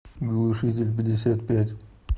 глушительпятьдесятпять